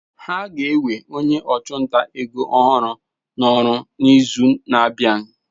Ha ga-ewe onye ọchụnta ego ọhụrụ n'ọrụ n'izu na-abịa.